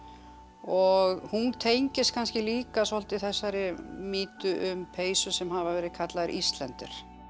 og hún tengist kannski líka svolítið þessari mýtu um peysur sem hafa verið kallaðar Íslander